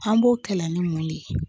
An b'o kɛlɛ ani mun de ye